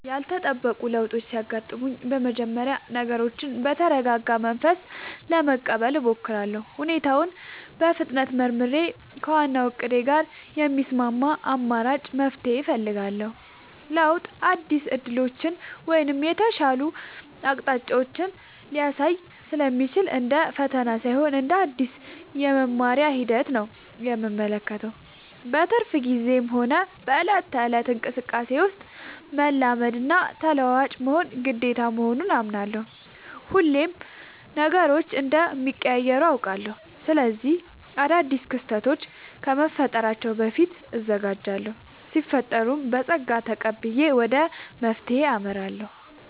ያልተጠበቁ ለውጦች ሲያጋጥሙኝ በመጀመሪያ ነገሮችን በተረጋጋ መንፈስ ለመቀበል እሞክራለሁ። ሁኔታውን በፍጥነት መርምሬ፣ ከዋናው እቅዴ ጋር የሚስማማ አማራጭ መፍትሄ እፈልጋለሁ። ለውጥ አዳዲስ ዕድሎችን ወይም የተሻሉ አቅጣጫዎችን ሊያሳይ ስለሚችል፣ እንደ ፈተና ሳይሆን እንደ አዲስ የመማሪያ ሂደት ነው የምመለከተው። በትርፍ ጊዜዬም ሆነ በዕለት ተዕለት እንቅስቃሴዬ ውስጥ፣ መላመድና ተለዋዋጭ መሆን ግዴታ መሆኑን አምናለሁ። ሁሌም ነገሮች እንደሚቀያየሩ አውቃለሁ። ስለዚህ አዳዲስ ክስተቶች ከመፈጠራቸው በፊት እዘጋጃለሁ ሲፈጠርም በፀጋ ተቀብዬ ወደ መፍትሄው አመራለሁ።